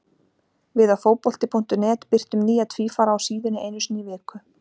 Við á Fótbolti.net birtum nýja tvífara á síðunni einu sinni í viku.